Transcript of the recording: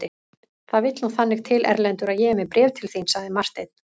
Það vill nú þannig til Erlendur að ég er með bréf til þín, sagði Marteinn.